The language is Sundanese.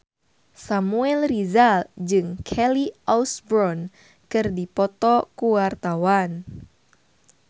Samuel Rizal jeung Kelly Osbourne keur dipoto ku wartawan